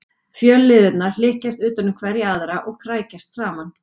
Fjölliðurnar hlykkjast utan um hverja aðra og krækjast saman.